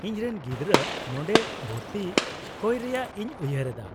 -ᱤᱧ ᱨᱮᱱ ᱜᱤᱫᱽᱨᱟᱹ ᱱᱚᱰᱮ ᱵᱷᱚᱨᱛᱤ ᱠᱚᱭ ᱨᱮᱭᱟᱜ ᱤᱧ ᱩᱭᱦᱟᱹᱨ ᱮᱫᱟ ᱾